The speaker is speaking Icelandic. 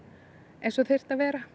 eins og þyrfti að vera